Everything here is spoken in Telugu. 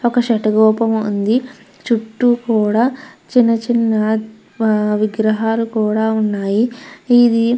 ఒక శేతగోపం ఉంది చుట్టూ కూడ చిన్న చిన్న విగ్రహాలు కూడ ఉన్నాయి ఇది --